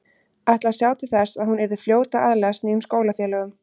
Ætlaði að sjá til þess að hún yrði fljót að aðlagast nýjum skólafélögum.